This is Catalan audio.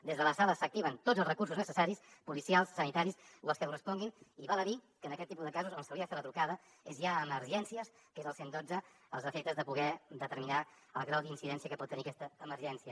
des de la sala s’activen tots els recursos necessaris policials sanitaris o els que corresponguin i val a dir que en aquest tipus de casos on s’hauria de fer la trucada és ja a emergències que és el cent i dotze als efectes de poder determinar el grau d’incidència que pot tenir aquesta emergència